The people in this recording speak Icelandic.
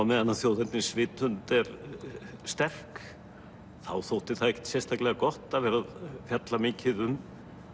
meðan þjóðernisvitund er sterk þá þótti það ekkert sérstaklega gott að vera að fjalla mikið um